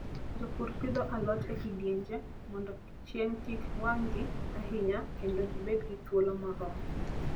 Jopur pidho alot e kidienje mondo chieng' kik wang'gi ahinya kendo gibed gi thuolo moromo.